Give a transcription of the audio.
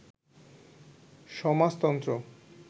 সমাজতন্ত্র